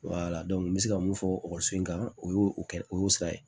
n bɛ se ka mun fɔ ekɔliso in kan o y'o kɛ o y'o sira ye